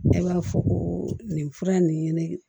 Ne b'a fɔ ko nin fura nin ɲini